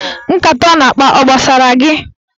Nkata ọ na-akpa ọ gbasara gị?